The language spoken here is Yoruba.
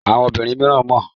Àwọn obìnrin mìíràn mọ́.